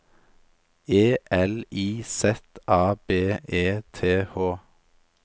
E L I Z A B E T H